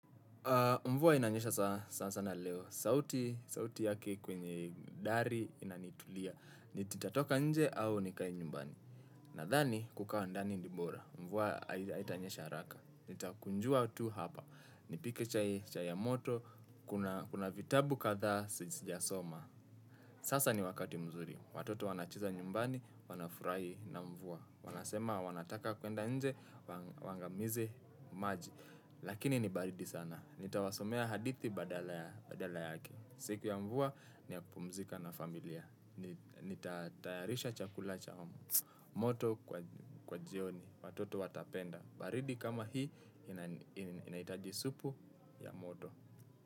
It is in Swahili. Mvua inanyesha sanasana leo, sauti sauti yake kwenye dari inanitulia. Nitatoka nje au nikae nyumbani. Nadhani kukaa ndani ni bora. Mvua aidha haitanyesha haraka. Nitakunjua tu hapa. Nipike chai ya moto. Kuna vitabu kadhaa sijasoma. Sasa ni wakati mzuri. Watoto wanacheza nyumbani, wanafurahi na mvua. Wanasema wanataka kuenda nje waangamize maji. Lakini ni baridi sana. Nitawasomea hadithi badala yake. Siku ya mvua ni ya kupumzika na familia. Nitatayarisha chakula cha moto kwa jioni. Watoto watapenda baridi kama hii inahitaji supu ya moto.